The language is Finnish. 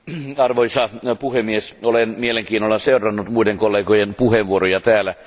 Arvoisa puhemies, olen mielenkiinnolla seurannut muiden kollegojen puheenvuoroja täällä.